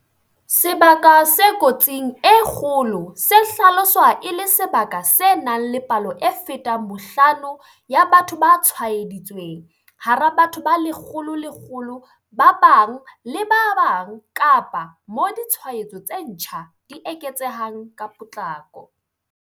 Sebaka se kotsing e kgolo se hlaloswa e le sebaka se nang le palo e fetang bohlano ya batho ba tshwaeditsweng hara batho ba 100 000 ba bang le ba bang kapa moo ditshwaetso tse ntjha di eketsehang ka potlako.